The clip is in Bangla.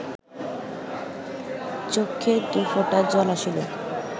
চক্ষে দুফোঁটা জল আসিল